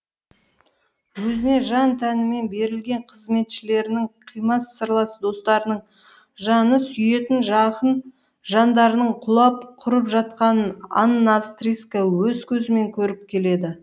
өзіне жан тәнімен берілген қызметшілерінің қимас сырлас достарының жаны сүйетін жақын жандарының құлап құрып жатқанын анна австрийская өз көзімен көріп келеді